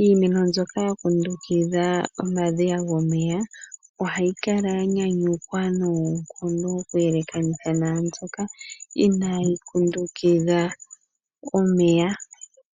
Iimeno mbyoka ya kundukidha omadhiya gomeya ohayi kala ya nyanyukwa noonkondo okuyelekanitha naambyoka inayi kundukidha omeya.